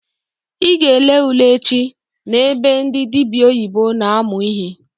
I ga ele ule echi na ebe ndị dịbịa oyibo na-amụ ihe!